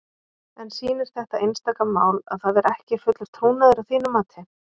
En sýnir þetta einstaka mál að það er ekki fullur trúnaður að þínu mati?